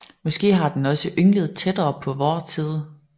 Måske har den også ynglet tættere på vor tid